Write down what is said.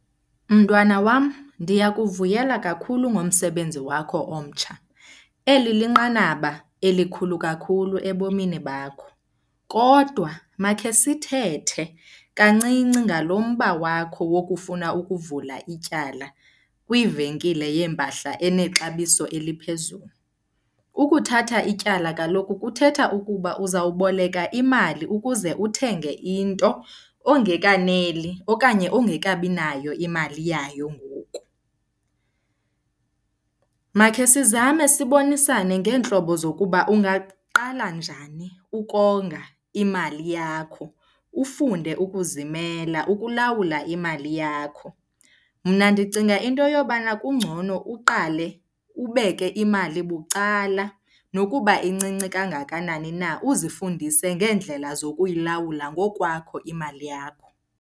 Mntwana wam, ndiyakuvuyela kakhulu ngomsebenzi wakho omtsha. Eli linqanaba elikhulu kakhulu ebomini bakho. Kodwa makhe sithethe kancinci ngalo mba wakho wokufuna ukuvula ityala kwivenkile yeempahla enexabiso eliphezulu. Ukuthatha ityala kaloku kuthetha ukuba uzawuboleka imali ukuze uthenge into ongekaneli okanye ongekabi nayo imali yayo ngoku. Makhe sizame sibonisane ngeentlobo zokuba ungaqala njani ukonga imali yakho, ufunde ukuzimela ukulawula imali yakho. Mna ndicinga into yobana kungcono uqale ubeke imali bucala nokuba incinci kangakanani na, uzifundise ngeendlela zokuyilawula ngokwakho imali yakho.